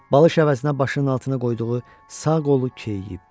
Balış əvəzinə başının altına qoyduğu sağ qolu keyiyib.